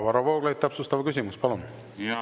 Varro Vooglaid, täpsustav küsimus, palun!